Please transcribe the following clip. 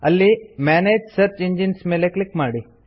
ಅಲ್ಲಿ ಮನಗೆ search engines ಮೇಲೆ ಕ್ಲಿಕ್ ಮಾಡಿ